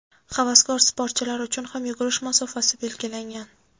Havaskor sportchilar uchun ham yugurish masofasi belgilangan.